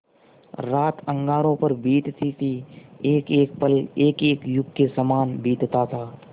रात अंगारों पर बीतती थी एकएक पल एकएक युग के सामान बीतता था